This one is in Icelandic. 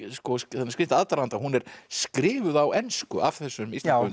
þann skrýtna aðdraganda að hún er skrifuð á ensku af þessum íslenska